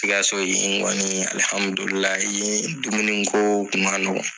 Sikaso in kɔni ye dumun ko a ma nɔgɔ.